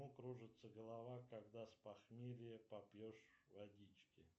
кружится голова когда с похмелья попьешь водички